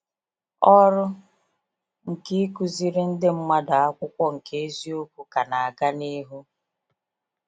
Ọrụ nke ikuziri ndị mmadụ akwụkwọ nke eziokwu ka na aga n'ihu.